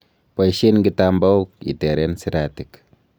Boishen kitambaok iteren siratik.